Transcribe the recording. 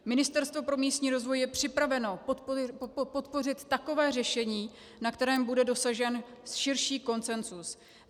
Ministerstvo pro místní rozvoj je připraveno podpořit takové řešení, na kterém bude dosažen širší konsenzus.